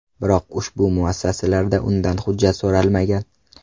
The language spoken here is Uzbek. Biroq, ushbu muassasalarda undan hujjat so‘ralmagan.